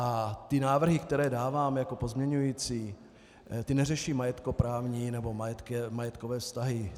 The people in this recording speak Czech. A ty návrhy, které dávám jako pozměňovací, ty neřeší majetkoprávní nebo majetkové vztahy.